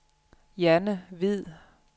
Janne Hvid